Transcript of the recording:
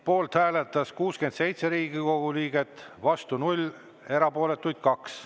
Poolt hääletas 67 Riigikogu liiget, vastu 0, erapooletuks jäi 2.